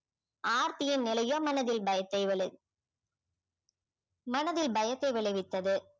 ஆர்த்தியின் நிலையோ மனதில் பயத்தை விளை~ மனதில் பயத்தை விளைவித்தது